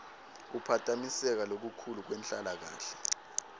kuphatamiseka lokukhulu kwenhlalakahle